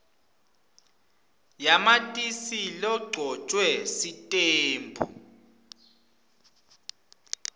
yamatisi legcotjwe sitembu